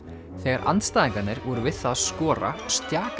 þegar andstæðingarnir voru við það að skora